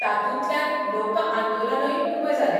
तातूंतल्यान लोकआंदोलनूय उबें जालें.